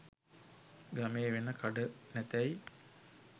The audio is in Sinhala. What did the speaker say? ගමේ වෙන කඩ නැතැයි